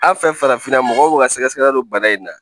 An fɛ farafinna mɔgɔw ka sɛgɛsɛgɛli don bana in na